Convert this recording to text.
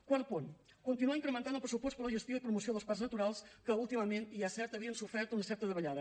quart punt continuar incrementant el pressupost per a la gestió i promoció dels parcs naturals que últimament i és cert havien sofert una certa davallada